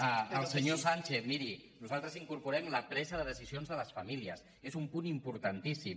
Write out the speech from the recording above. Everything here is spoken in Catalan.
al senyor sánchez miri nosaltres incorporem la pre·sa de decisions de les famílies és un punt importantís·sim